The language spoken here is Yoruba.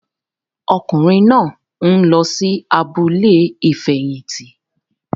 Ọkùnrin náà nlọ sí abúlé ifẹhinti